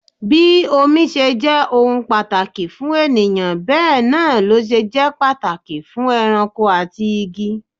Bí omi ṣe jẹ́ ohun pàtàkì fún ènìyàn bẹ náà lọ ṣe jẹ́ pàtàkì fún ẹranko àti igi.